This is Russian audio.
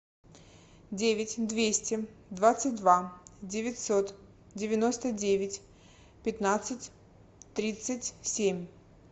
девять двести двадцать два девятьсот девяносто девять пятнадцать тридцать семь